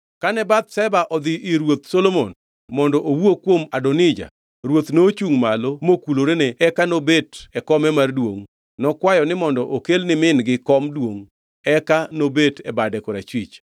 Kane Bathsheba odhi ir Ruoth Solomon mondo owuo kuom Adonija, ruoth nochungʼ malo mokulorene eka nobet e kome mar duongʼ. Nokwayo mondo okel ni min-gi kom duongʼ eka nobet e bade korachwich.